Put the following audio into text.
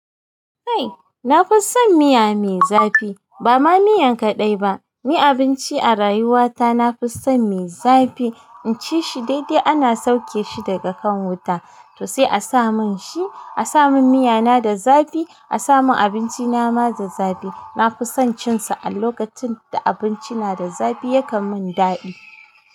Ai na fi son miya mai zafi ba ma miya kaɗai ba. Ni abinci a rayuwa ta na fi son mai zafi in ci shi daidai ana sauke shi daga kan wuta to sai a sa mun shi. A sa mun miya na da zafi, a sa mun abinci nama da zafi. Na fi son cin su a lokacin da abinci na da zafi yakan mun daɗi.